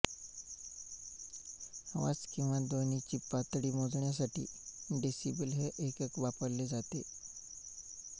आवाज किंवा ध्वनीची पातळी मोजण्यासाठी डेसिबल हे एकक वापरले जाते